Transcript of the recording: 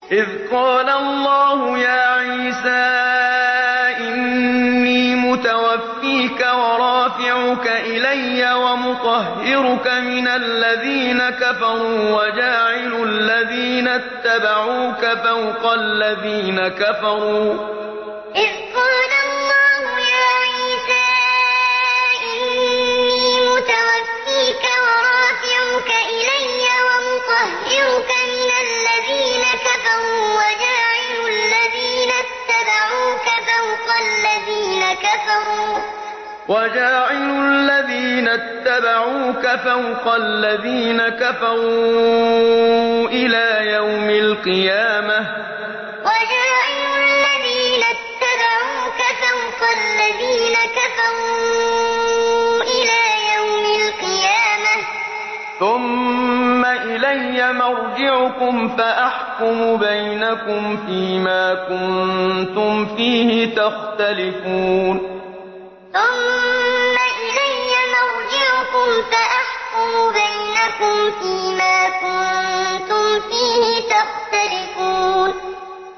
إِذْ قَالَ اللَّهُ يَا عِيسَىٰ إِنِّي مُتَوَفِّيكَ وَرَافِعُكَ إِلَيَّ وَمُطَهِّرُكَ مِنَ الَّذِينَ كَفَرُوا وَجَاعِلُ الَّذِينَ اتَّبَعُوكَ فَوْقَ الَّذِينَ كَفَرُوا إِلَىٰ يَوْمِ الْقِيَامَةِ ۖ ثُمَّ إِلَيَّ مَرْجِعُكُمْ فَأَحْكُمُ بَيْنَكُمْ فِيمَا كُنتُمْ فِيهِ تَخْتَلِفُونَ إِذْ قَالَ اللَّهُ يَا عِيسَىٰ إِنِّي مُتَوَفِّيكَ وَرَافِعُكَ إِلَيَّ وَمُطَهِّرُكَ مِنَ الَّذِينَ كَفَرُوا وَجَاعِلُ الَّذِينَ اتَّبَعُوكَ فَوْقَ الَّذِينَ كَفَرُوا إِلَىٰ يَوْمِ الْقِيَامَةِ ۖ ثُمَّ إِلَيَّ مَرْجِعُكُمْ فَأَحْكُمُ بَيْنَكُمْ فِيمَا كُنتُمْ فِيهِ تَخْتَلِفُونَ